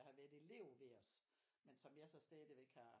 Der har været elev ved os men som jeg så stadigvæk har